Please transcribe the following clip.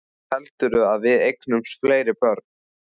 Heldurðu að við eignumst fleiri börn?